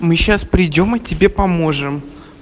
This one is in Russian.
мы сейчас придём мы тебе поможем